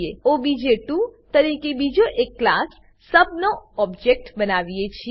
આપણે ઓબીજે2 તરીકે બીજા એક ક્લાસ સબ નો ઓબજેક્ટ બનાવીએ છીએ